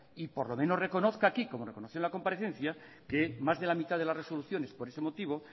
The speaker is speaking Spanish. y por lo menos reconozca aquí como reconoció en la comparecencia que más de la mitad de las resoluciones por ese motivo